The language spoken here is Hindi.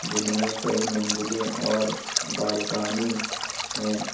जिन में कई मंजिलें और बालकानी है।